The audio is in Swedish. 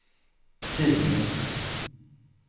tydligen